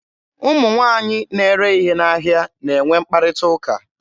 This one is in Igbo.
Ụmụ nwaanyị na-ere ihe n'ahịa na-enwe mkparịta ụka.